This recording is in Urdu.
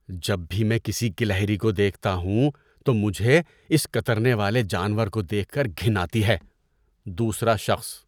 جب بھی میں کسی گلہری کو دیکھتا ہوں تو مجھے اس کترنے والے جانور کو دیکھ کر گھن آتی ہے۔ (دوسرا شخص)